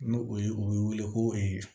N'o o ye o bɛ wele ko ee